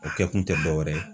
O kɛ kun tɛ dɔ wɛrɛ ye.